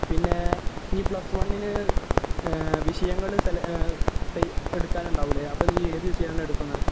പിന്നെ, ഇനി plus one നു വിഷയങ്ങള് സെല..എടുക്കാൻ ഉണ്ടാവില്ലേ? അപ്പൊ നീ ഏത് വിഷയമാണ് എടുക്കുന്നത്?